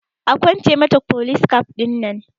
Akwance mata folis kaf ɗinan